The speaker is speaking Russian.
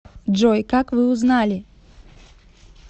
джой как вы узнали